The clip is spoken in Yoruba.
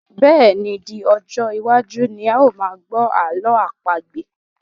Bẹ́ẹ̀ni, di ọjọ́ iwájú ni a máa gbọ́ ààlọ́ àpagbè